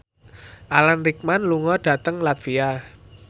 Alan Rickman lunga dhateng latvia